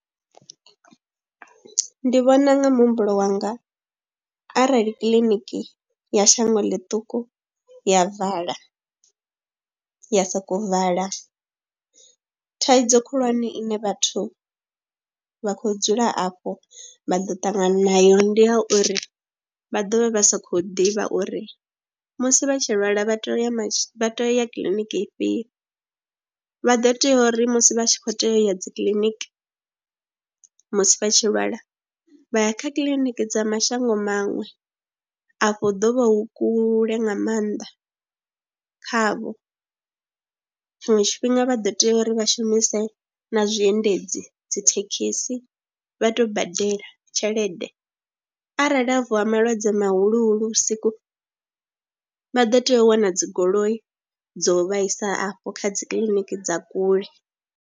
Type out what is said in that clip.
Ndi vhona nga muhumbulo wanga arali kiḽiniki ya shango ḽiṱuku ya vala, ya sokou vala thaidzo khulwane ine vhathu vha khou dzula afho vha ḓo ṱangana nayo ndi ya uri vha ḓo vha vha sa khou ḓivha uri musi vha tshi lwala vha tea u ya, vha tou ya kiḽiniki ifhio. Vha ḓo teya uri musi vha tshi khou tea u ya dzi kiḽiniki musi vha tshi lwala vha ya kha kiliniki dza mashango maṅwe afho ḓo vha hu kule nga maanḓa khavho. Tshiṅwe tshifhinga vha ḓo tea uri vha shumise na zwiendedzi dzi dzi thekhisi vha tuu badela tshelede arali ha vuwa malwadze mahuluhuhulu vhusiku vha ḓo tea u wana dzi goloi dzo vha isa afho kha dzi kiḽiniki dza kule.